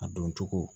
A don cogo